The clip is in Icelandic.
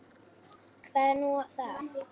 Hvað er nú það?